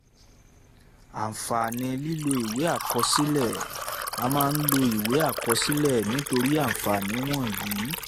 àǹfààní lílọ ìwé àkọsílẹ̀ a máa ń lo ìwé àkọsílẹ̀ nítorí àǹfààní wọ̀nyí: